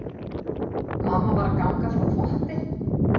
Mamma var að ganga frá þvotti.